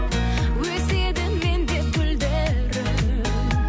өседі мен деп гүлдерің